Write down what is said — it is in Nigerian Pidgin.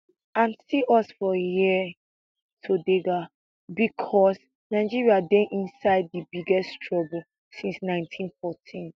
and see us for hia todega becos nigeria dey inside di biggest trouble since nineteen fourteen